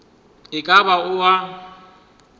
e ka ba o a